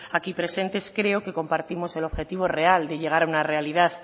aquí presentes creo que compartimos el objetivo real de llegar a una realidad